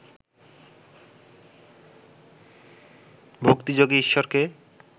ভক্তিযোগে ঈশ্বরকে